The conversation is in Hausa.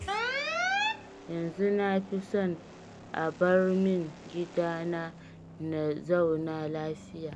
Yanzu na fi son a bar min gidana na zauna lafiya